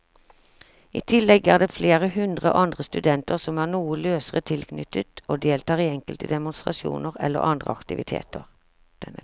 I tillegg er det flere hundre andre studenter som er noe løsere tilknyttet og deltar i enkelte demonstrasjoner eller andre aktiviteter.